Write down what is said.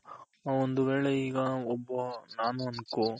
ಒಂದು ವೇಳೆ ಈಗ ಒಬ್ಬ ನಾನು ಅನ್ಕೋ